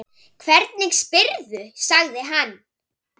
Hvernig spyrðu, sagði hann.